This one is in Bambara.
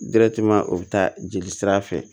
o bɛ taa jeli sira fɛ